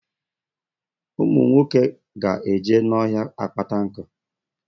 Ụmụ nwoke ga eje n'ọhịa akpata nku